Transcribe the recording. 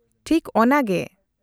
-ᱴᱷᱤᱠ ᱚᱱᱟᱜᱮ !